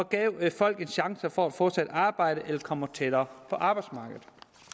gav folk en chance for at få sig et arbejde eller komme tættere på arbejdsmarkedet